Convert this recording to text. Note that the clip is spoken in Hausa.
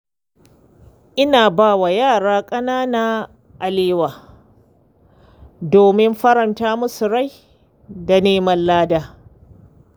Ina ba wa yara ƙanana kyautar alewa domin faranta musu rai da neman lada.